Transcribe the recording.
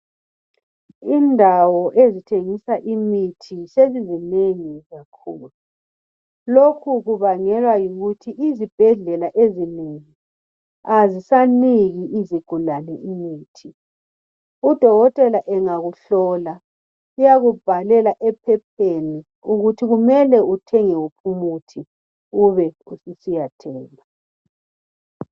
Indawo ezithengisa imithi sezizinengi kakhulu. Lokhu kubangelwa yikuthi izibhedlela ezinengi azisaniki izigulsni imithi. Udokotela angakuhlola, uyakubhalela ephepheni ukuthi kumele uthenge wuphi umuthi, ube ususiya thenga.